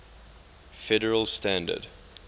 federal standard